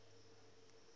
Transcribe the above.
natural gas lng